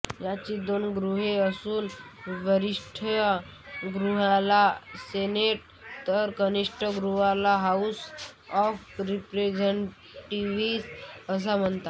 याची दोन गृहे असून वरिष्ठ गृहाला सेनेट तर कनिष्ठ गृहाला हाउस ऑफ रिप्रेझेंटेटिव्हस असे म्हणतात